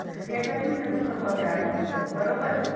याच्यातून त्याचा स्वभाव तयार होत असतो, बरोबर?